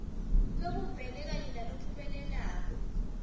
lobumbene kanye nalophumelelako